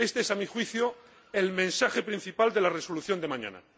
Este es, a mi juicio, el mensaje principal de la resolución de mañana.